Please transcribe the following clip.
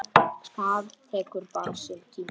Það tekur bara sinn tíma.